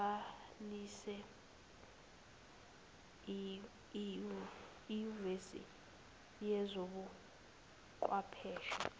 abhalise enyuvesi yezobuchwepheshe